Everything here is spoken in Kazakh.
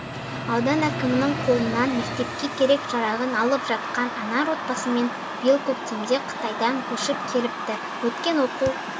аудан әкімінің қолынан мектепке керек-жарағын алып жатқан анар отбасымен биыл көктемде қытайдан көшіп келіпті өткен оқу